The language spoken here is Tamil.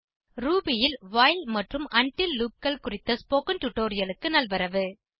ரூபி ல் வைல் மற்றும் உண்டில் loopகள் குறித்த ஸ்போகன் டுடோரியலுக்கு நல்வரவு